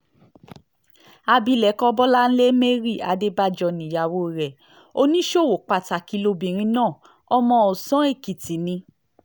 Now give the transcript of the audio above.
abilékọ bọ́láńlé mary adébájọ níyàwó rẹ̀ oníṣòwò pàtàkì lobìnrin náà ọmọ ọ̀sán-èkìtì ni